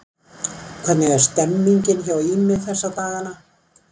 Hvernig er stemmningin hjá Ými þessa dagana?